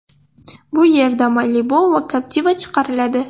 Bu yerda Malibu va Captiva chiqariladi.